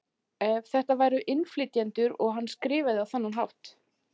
Ef þetta væru innflytjendur og hann skrifaði á þennan hátt?